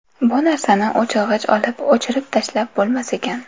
Bu narsani o‘chirg‘ich olib, o‘chirib tashlab bo‘lmas ekan.